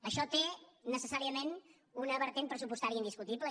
això té necessàriament una vessant pressupostària indiscutible